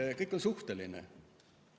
Jaa, kõik on suhteline.